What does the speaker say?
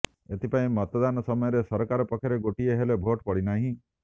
ଏଥିପାଇଁ ମତଦାନ ସମୟରେ ସରକାର ପକ୍ଷରେ ଗୋଟିଏ ହେଲେ ଭୋଟ୍ ପଡ଼ିନାହିଁ